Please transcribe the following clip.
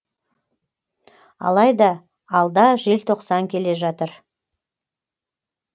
алайда алда желтоқсан келе жатыр